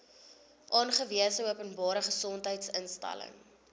aangewese openbare gesondheidsinstelling